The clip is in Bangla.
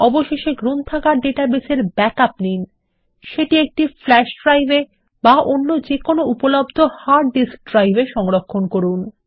অবশেষে গ্রন্থাগার ডাটাবেসের ব্যাকআপ নিন সেটি একটি ফ্ল্যাশ ড্রাইভ এ বা অন্য কোন উপলব্ধ হার্ড ডিস্ক ড্রাইভে সংরক্ষণ করুন